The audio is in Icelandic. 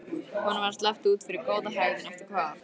Honum var sleppt út fyrir góða hegðun eftir hvað?